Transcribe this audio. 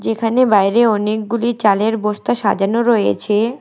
এখানে বাইরে অনেকগুলি চালের বস্তা সাজানো রয়েছে।